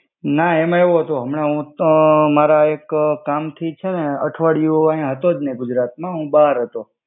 ના એમા એવુ હતુ, હમના હુતો મારા એક કામથી છેને અઠવાડિયું આયા હત્તો જ નહિ ગુજરાત મા હુ બાર હતો.